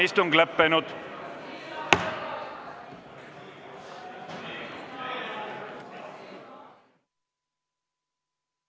Istungi lõpp kell 15.06.